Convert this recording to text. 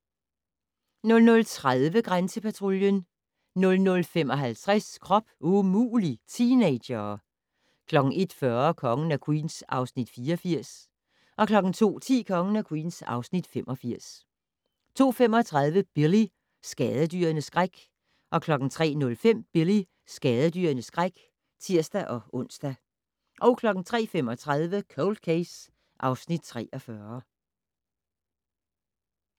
00:30: Grænsepatruljen 00:55: Krop umulig - teenagere 01:40: Kongen af Queens (Afs. 84) 02:10: Kongen af Queens (Afs. 85) 02:35: Billy - skadedyrenes skræk 03:05: Billy - skadedyrenes skræk (tir-ons) 03:35: Cold Case (Afs. 43)